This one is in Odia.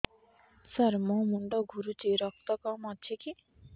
ସାର ମୋର ମୁଣ୍ଡ ଘୁରୁଛି ରକ୍ତ କମ ଅଛି କି